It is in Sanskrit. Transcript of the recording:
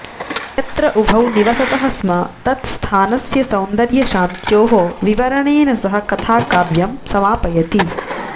यत्र उभौ निवसतः स्म तत्स्थानस्य सौन्दर्यशान्ततयोः विवरणेन सह कथाकाव्यं समापयति